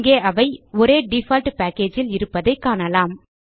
இங்கே அவை ஒரே டிஃபால்ட் packageல் இருப்பதைக் காணலாம்